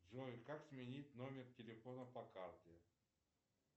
джой как сменить номер телефона по карте